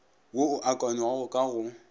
wo o akanywago ka go